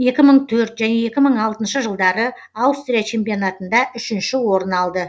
екі мың төрт және екі мың алтыншы жылдары аустрия чемпионатында үшінші орын алды